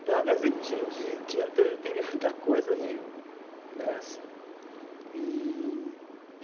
Então, quer dizer, tinha dia teve teve muita coisa horrível, né, assim. E